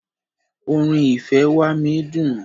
Orin "ìfẹ́ wá mí" dùn.